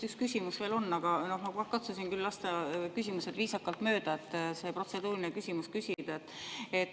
Üks küsimus vist veel on, aga ma küll katsusin lasta küsimused viisakalt mööda, et see protseduuriline küsimus küsida.